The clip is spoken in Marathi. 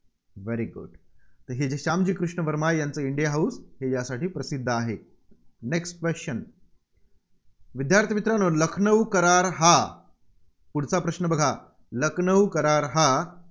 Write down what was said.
very good हे जे श्यामजी कृष्ण वर्मा यांचं इंडिया हाऊस यासाठी प्रसिद्ध आहे. Next Question विद्यार्थी मित्रांनो लखनऊ करार हा, पुढचा प्रश्न बघा. लखनऊ करार हा